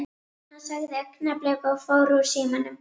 Hann sagði augnablik og fór úr símanum.